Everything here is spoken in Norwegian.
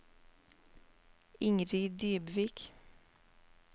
Ingrid Dybvik